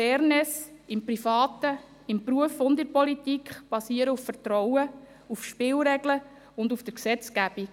Fairness im Privaten, im Beruf und in der Politik basieren auf Vertrauen, auf Spielregeln und auf der Gesetzgebung.